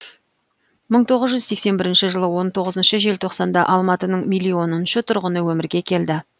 мың тоғыз жүз сексен бірінші жылы он тоғызыншы желтоқсанда алматының миллионыншы тұрғыны өмірге келді